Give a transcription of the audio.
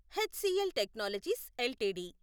HCl technologies LTD